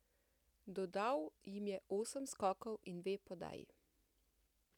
Dodal jim je osem skokov in dve podaji.